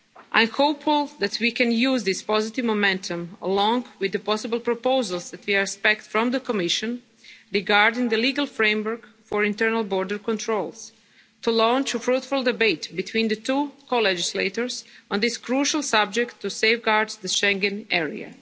Schengen area. I am hopeful that we can use this positive momentum, along with the possible proposals that we expect from the Commission regarding the legal framework for internal border controls, to launch a fruitful debate between the two co-legislators on this crucial subject, to safeguard the